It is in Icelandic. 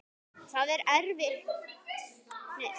Það erfitt er fyrir óvana.